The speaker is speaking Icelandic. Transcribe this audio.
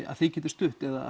að þið getið stutt eða